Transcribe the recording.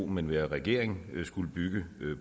men være regering ville skulle bygge